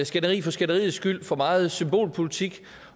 skænderi for skænderiets skyld og for meget symbolpolitik